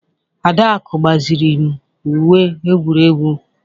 Adaku gbaziri m Uwe egwuregwu